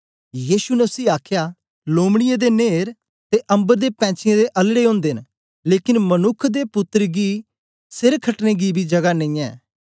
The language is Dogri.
यीशु ने उसी आखया लुम्बीयें दे नेर ते अम्बर दे पैंछीयें दे अलड़े ओन्दे न लेकन मनुक्ख दे पुत्तर गी से खटने गी बी जगा नेईयैं